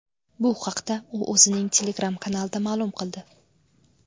Bu haqda u o‘zining Telegram-kanalida ma’lum qildi.